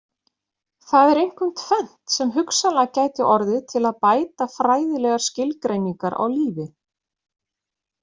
Það er einkum tvennt sem hugsanlega gæti orðið til að bæta fræðilegar skilgreiningar á lífi.